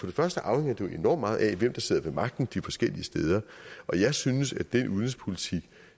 det første afhænger det jo enormt meget af hvem der sidder ved magten de forskellige steder og jeg synes at den udenrigspolitik